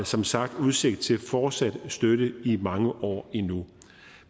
som sagt udsigt til fortsat støtte i mange år endnu